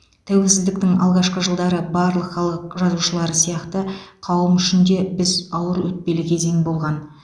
тәуелсіздіктің алғашқы жылдары барлық халық жазушылары сияқты қауым үшін де біз ауыр өтпелі кезең болған